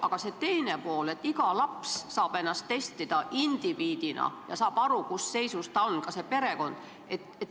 Aga teine pool on, et iga laps saab ennast testida indiviidina ja tema ja ta perekond saavad aru, millises positsioonis ta on.